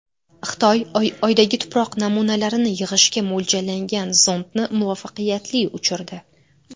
Xitoy Oydagi tuproq namunalarini yig‘ishga mo‘ljallangan zondini muvaffaqiyatli uchirdi .